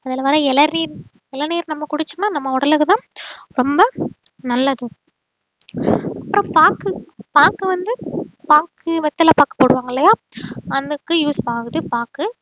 அதுல வர்ற இளநீர் இளநீர் நம்ம குடிச்சோம்ன்னா நம்ம உடலுக்குதான் ரொம்ப நல்லது அப்புறம் பாக்கு பாக்கு வந்து பாக்கு வெத்தலை பாக்கு போடுவாங்க இல்லையா அதுக்கு use ஆகுது பாக்கு